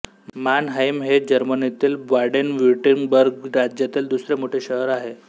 Mannheim हे जर्मनीतील Baden Württemberg राज्यातील दुसरे मोठे शहर आहे